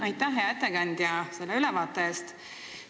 Aitäh, hea ettekandja, selle ülevaate eest!